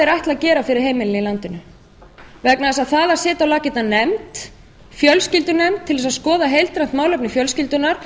ætli að gera fyrir heimilin í landinu vegna þess að setja á laggirnar nefnd fjölskyldunefnd til að skoða heildstætt mál fjölskyldunnar